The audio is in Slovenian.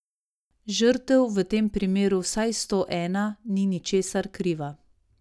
Žrtev, v tem primeru vsaj sto ena, ni ničesar kriva.